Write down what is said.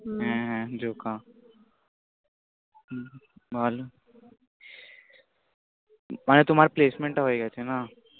হ্য়াঁ হ্য়াঁ জোকা। বল মানে তোমার placement টা হয়ে গেছে না? হম